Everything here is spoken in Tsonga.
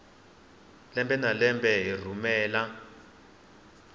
lembe na lembe yi rhumela